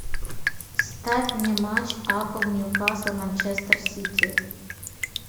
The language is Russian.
ставь мне матч апл нью касл манчестер сити